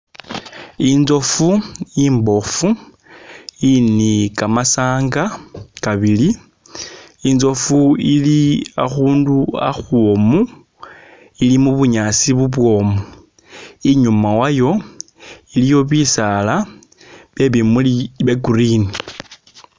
Intsofu imbofu ili ni'kamasanga kabili intsofu ili akhundu akhwomu ili mu'bunyaasi bubwomu inyuma wayo iliyo bisaala byebimuli bya'green